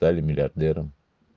стали миллиардером